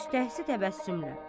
Müshtəhzi təbəssümlə.